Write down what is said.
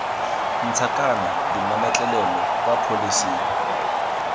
ntšha kana dimametlelelo kwa pholesing